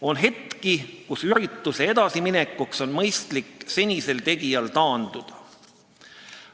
On hetki, kus ürituse edasiminekuks on mõistlik senisel tegijal taanduda.